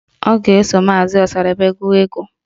Ọ ga-eso maazi Ọsadebe gụọ egwu